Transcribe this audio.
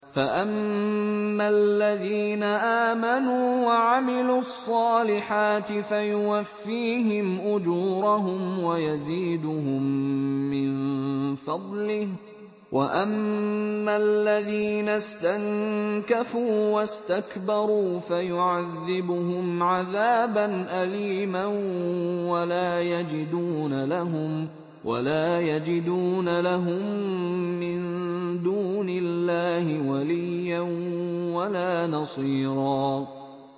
فَأَمَّا الَّذِينَ آمَنُوا وَعَمِلُوا الصَّالِحَاتِ فَيُوَفِّيهِمْ أُجُورَهُمْ وَيَزِيدُهُم مِّن فَضْلِهِ ۖ وَأَمَّا الَّذِينَ اسْتَنكَفُوا وَاسْتَكْبَرُوا فَيُعَذِّبُهُمْ عَذَابًا أَلِيمًا وَلَا يَجِدُونَ لَهُم مِّن دُونِ اللَّهِ وَلِيًّا وَلَا نَصِيرًا